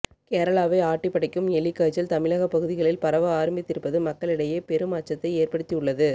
கேரளாவை ஆட்டிப் படைக்கும் எலிக்காய்ச்சல் தமிழகப் பகுதிகளில் பரவ ஆரம்பித்திருப்பது மக்களிடையே பெரும் அச்சத்தை ஏற்படுத்தி உள்ளது